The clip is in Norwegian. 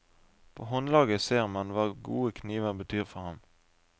På håndlaget ser man hva gode kniver betyr for ham.